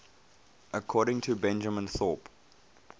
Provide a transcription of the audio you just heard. according to benjamin thorpe